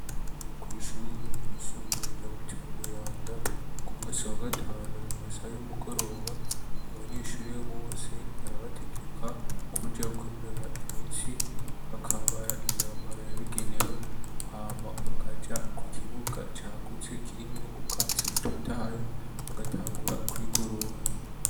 Kw'ishuri ryisumbuye rya mucima mw'iranda ku munsi wa gatanu mu masaha y'umugoroba abanyeshuri bose barabategeka kujya kwinura imici bakambara imyambaro yabigenewe hama bakaja ku kibuga cagutse kirimwe ubwatsi butotahye bagatangura kwigorora.